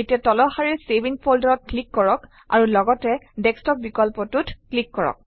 এতিয়া তলৰ শাৰীৰ চেভ ইন Folder অত ক্লিক কৰক আৰু লগতে ডেস্কটপ বিকল্পটোত ক্লিক কৰক